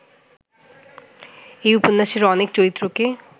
এই উপন্যাসের অনেক চরিত্রকে